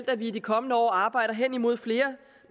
at vi i de kommende år arbejder henimod flere